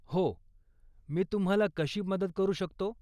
हो, मी तुम्हाला कशी मदत करू शकतो?